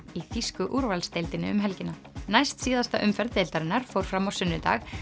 í þýsku úrvalsdeildinni um helgina næst síðasta umferð deildarinnar fór fram á sunnudag